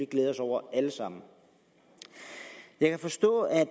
glæde os over alle sammen jeg kan forstå at